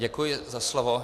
Děkuji za slovo.